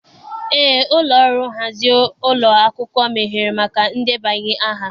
Eé, ụlọ ọrụ nhazi ụlọ akwụkwọ meghere maka ndebanye aha.